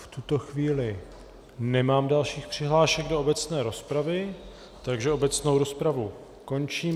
V tuto chvíli nemám dalších přihlášek do obecné rozpravy, takže obecnou rozpravu končím.